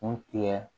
Kun tigɛ